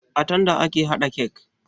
A tanda ake haɗa kek